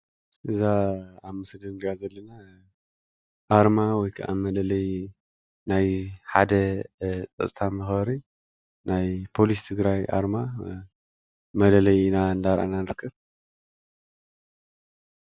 ኣርማ ወይ ከዓ ማሕታም ፓሊስ ትግራይ እዩ።